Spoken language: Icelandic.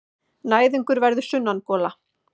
Næðingur verður sunnangola.